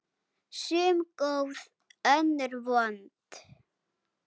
Sum góð, önnur vond.